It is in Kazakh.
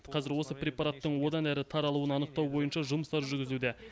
қазір осы препараттың одан әрі таралуын анықтау бойынша жұмыстар жүргізуде